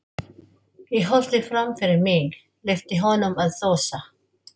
Ég horfði fram fyrir mig, leyfði honum að þusa.